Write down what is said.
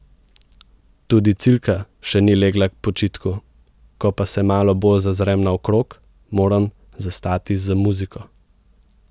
Tudi Cilka še ni legla k počitku, ko pa se malo bolj zazrem naokrog, moram zastati z muziko.